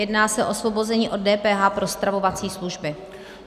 Jedná se o osvobození od DPH pro stravovací služby.